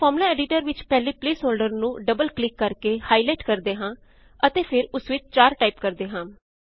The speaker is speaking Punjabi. ਆਓ ਫ਼ਾਰਮੂਲਾ ਐਡੀਟਰ ਵਿੱਚ ਪਹਿਲੇ ਪ੍ਲੇਸ ਹੋਲ੍ਡਰ ਨੂੰ ਡਬਲ ਕਲਿਕ ਕਰਕੇ ਹਾਇਲਾਈਟ ਕਰਦੇ ਹਾਂ ਅਤੇ ਫ਼ੇਰ ਉਸ ਵਿੱਚ 4 ਟਾਇਪ ਕਰਦੇ ਹਾਂ